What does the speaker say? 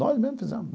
Nós mesmos fizemos.